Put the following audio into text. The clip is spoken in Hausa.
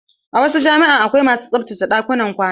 A wasu jami'a akwai masu tsaftace ɗakunan kwana.